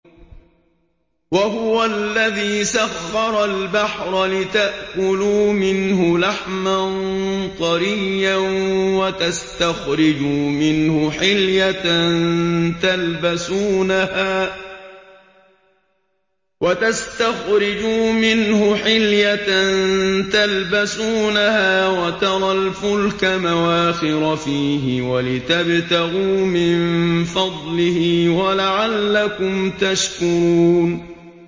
وَهُوَ الَّذِي سَخَّرَ الْبَحْرَ لِتَأْكُلُوا مِنْهُ لَحْمًا طَرِيًّا وَتَسْتَخْرِجُوا مِنْهُ حِلْيَةً تَلْبَسُونَهَا وَتَرَى الْفُلْكَ مَوَاخِرَ فِيهِ وَلِتَبْتَغُوا مِن فَضْلِهِ وَلَعَلَّكُمْ تَشْكُرُونَ